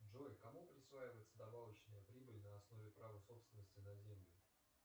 джой кому присваивается добавочная прибыль на основе права собственности на землю